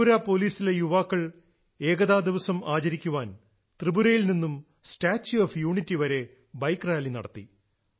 ത്രിപുര പോലീസിലെ യുവാക്കൾ ഏകതാ ദിവസം ആചരിക്കാൻ ത്രിപുരയിൽ നിന്നും സ്റ്റാച്യൂ ഓഫ് യൂണിറ്റി വരെ ബൈക്ക് റാലി നടത്തി